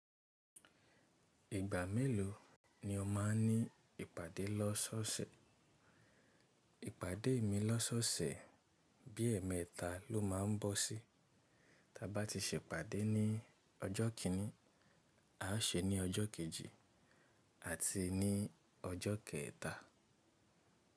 Ìgbà mélòó ni o máa ní ìpàdé lọ́sọ̀ọ̀sẹ̀? Ìpàdé mi lọ́sọ̀ọ̀sẹ̀ bí i ẹẹ́mẹ́ta ló má ń bọ́ sí. Tí a bá ti ṣe ìpàdé ní ọjọ́ kíní, a ṣe ní ọjọ́ kejì àti ní ọjọ́ kẹta.